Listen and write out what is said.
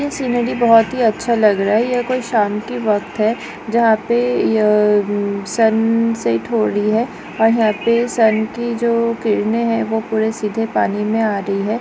यह सिनरी बहुत ही अच्छा लग रहा है यह कोइ शाम का वक़्त है जहा पे यह सन सेट हो रही है और यहाँ पे सन की जो किरने है ओ पुरे सीधे पानी मे आ रही है।